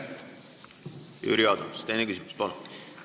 Jüri Adams, teine küsimus, palun!